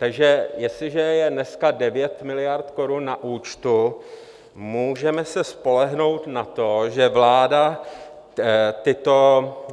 Takže jestliže je dneska 9 miliard korun na účtu, můžeme se spolehnout na to, že vláda tyto